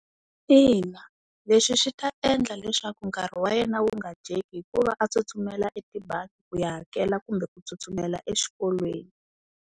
Ina leswi swi ta endla leswaku nkarhi wa yena wu nga dyeki hikuva a tsutsumela etibangi ku ya hakela kumbe ku tsutsumela exikolweni.